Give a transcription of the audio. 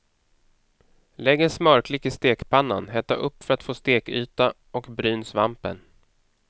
Lägg en smörklick i stekpannan, hetta upp för att få stekyta och bryn svampen.